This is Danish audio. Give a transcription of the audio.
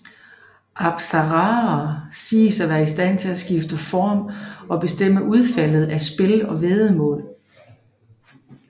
Apsaraer siges at være istand til at skifte form og bestemme udfaldet af spil og væddemål